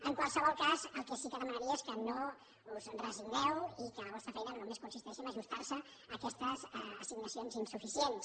en qualsevol cas el que sí que demanaria és que no us hi resigneu i que la vostra feina no només consisteixi a ajustar se a aquestes assignacions insuficients